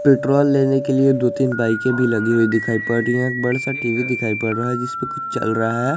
Petrol लेने के लिए दो तीन बाइके भी लगी हुई दिखाई पड़ रही है बड़ा सा टी_वी दिखाई पड़ रहा है जिसमें कुछ चल रहा है।